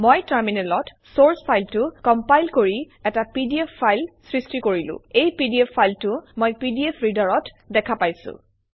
মই টাৰ্মিনেলত চৰ্চ ফাইলটো কমপাইল কৰি এটা পিডিএফ ফাইল সৃষ্টি কৰিলো এই পিডিএফ ফাইলটো মই পিডিএফ ৰীডাৰত দেখা পাইছোঁ